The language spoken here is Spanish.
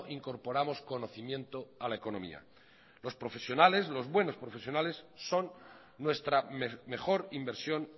incorporamos conocimiento a la economía los buenos profesionales son nuestra mejor inversión